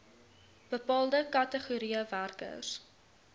bepaalde kategorieë werkers